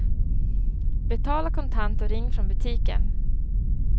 Betala kontant och ring från butiken.